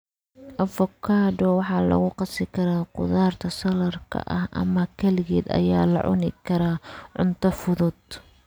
Avocado waxaa lagu qasi karaa khudaarta saladhka ah ama kaligeed ayaa la cuni karaa cunto fudud.